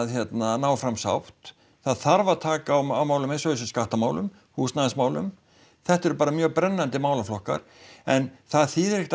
ná fram sátt það þarf að taka á málum eins og þessum skattamálum húsnæðismálum þetta eru bara mjög brennandi málaflokkar en það þýðir ekkert